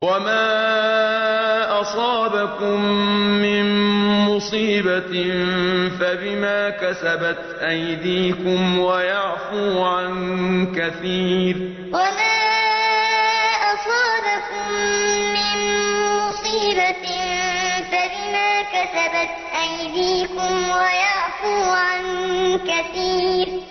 وَمَا أَصَابَكُم مِّن مُّصِيبَةٍ فَبِمَا كَسَبَتْ أَيْدِيكُمْ وَيَعْفُو عَن كَثِيرٍ وَمَا أَصَابَكُم مِّن مُّصِيبَةٍ فَبِمَا كَسَبَتْ أَيْدِيكُمْ وَيَعْفُو عَن كَثِيرٍ